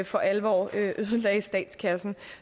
for alvor ødelagde statskassen